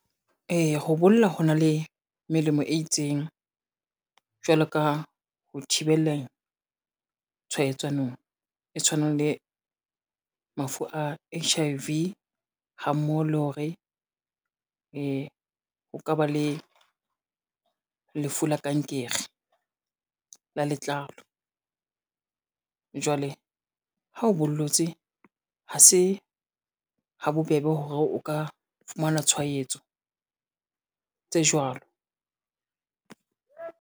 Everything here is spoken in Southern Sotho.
Eya ho bolla ho na le melemo e itseng, jwalo ka ho thibeleng tshwaetsanong e tshwanang le mafu a H_I_V ha mmoho le hore, o ka ba le lefu la kankere la letlalo. Jwale ha o bollotse, ha se ha bobebe hore o ka fumana tshwaetso tse jwalo.